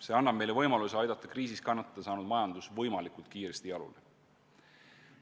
See annab meile võimaluse aidata kriisis kannatada saanud majandus võimalikult kiiresti jalule.